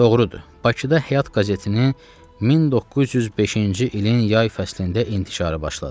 Doğrudur, Bakıda Həyat qəzetinin 1905-ci ilin yay fəslində intişarı başladı.